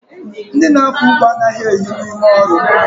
Ndị na-akọ ugbo anaghị ehi n'ime ọrụ